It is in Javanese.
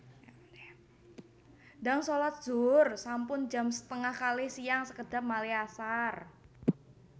Ndang solat zuhur sampun jam setengah kalih siang sekedhap malih asar